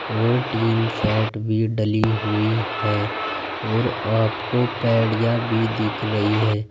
और टीनशेड भी डली हुई है और आपको पैढ़िया भी दिख रही है।